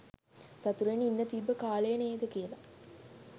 සතුටෙන් ඉන්න තිබ්බ කාලය නේද කියල